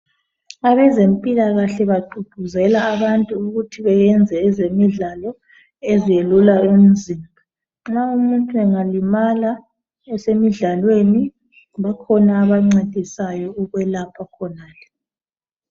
Abezempilakahle bagqugquzela abantu ukuthi benze ezemidlalo eziyelula umzimba. Nxa umuntu engalimala esemidlalweni bakhona abancedisayo ukwelapha khonale.